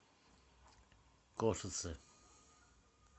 кошице